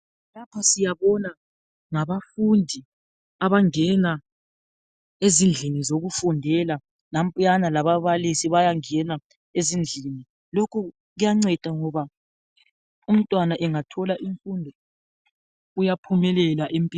Lapha siyabona ngabafundi abangena ezindlini yokufundela. Nampuyana lababalisi bayangena ezindlini lokho kuyanceda ngoba umntwana engathola imfundo uyaphumelela empilweni.